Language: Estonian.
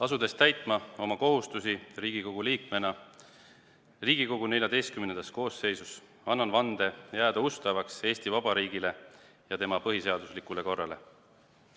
Asudes täitma oma kohustusi Riigikogu liikmena Riigikogu XIV koosseisus, annan vande jääda ustavaks Eesti Vabariigile ja tema põhiseaduslikule korrale.